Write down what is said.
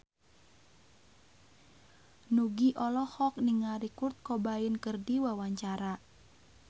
Nugie olohok ningali Kurt Cobain keur diwawancara